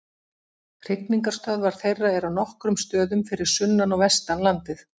Hrygningarstöðvar þeirra eru á nokkrum stöðum fyrir sunnan og vestan landið.